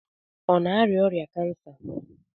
Ọ na-arịa ọrịa kansa?